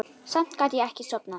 Samt gat ég ekki sofnað.